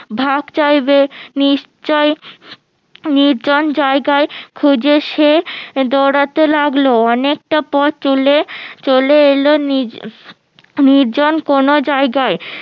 ভাগ চাইবে নিশ্চই নির্জন জায়গায় খোঁজে সে দৌড়াতে লাগলো অনেকটা পথ চলে এলো নির্জ ~ নির্জন কোনো জায়গায়